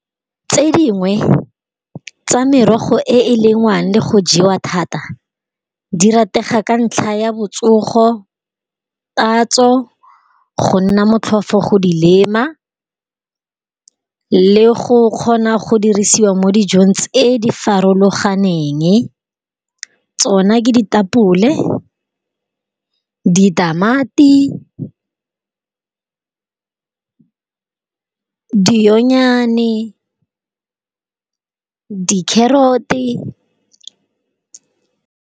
Tse dingwe, tsa merogo e e lengwang le go jewa thata. Di rategang ka ntlha ya botsogo, tatso, go nna motlhofo go di lema, le go kgona go dirisiwa mo dijong tse di farologaneng. Tsona ke di tapole, di tamati, di onyane ka di carrot-e.